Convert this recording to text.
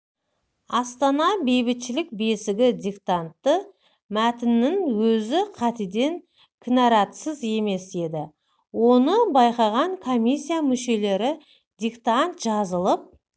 астана бейбітшілік бесігі диктанты мәтінінің өзі қатеден кінаратсыз емес еді оны байқаған комиссия мүшелері диктант жазылып